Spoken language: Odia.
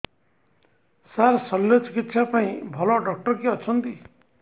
ସାର ଶଲ୍ୟଚିକିତ୍ସା ପାଇଁ ଭଲ ଡକ୍ଟର କିଏ ଅଛନ୍ତି